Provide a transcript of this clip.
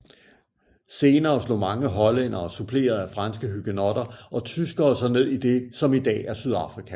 Senere slog mange hollændere suppleret af franske hugenotter og tyskere sig ned i det som i dag er Sydafrika